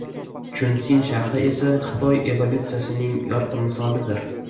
Chunsin shahri esa Xitoy evolyutsiyasining yorqin misolidir.